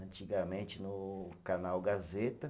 antigamente no canal Gazeta.